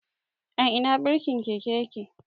A Ina birkin keke yake?